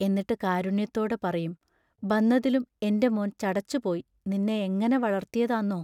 എന്നിട്ട് കാരുണ്യത്തോടെ പറയും: ബന്നതിലും എന്റെ മോൻ ചടച്ചുപോയ് നിന്ന എങ്ങനെ വളർത്തിയതാന്നോ?